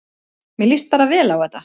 Mér líst bara vel á þetta